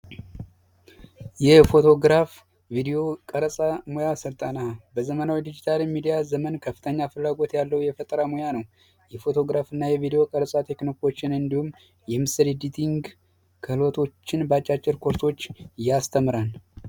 የፎቶግራፍ ሙያ ስልጠና በዘመናዊ ዲጂታል ሚድያ ዘመን ከፍተኛ ፍላጎት ያለው የፈጠራ ሙያ ነው የፎቶግራፍ እና ቴክኖችን እንዲሁም በአጭሩ ያስተምራል